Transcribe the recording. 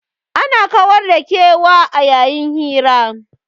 Ana kawar da kewa a yayin hira.